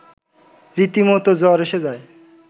রীতিমতো জ্বর এসে যায়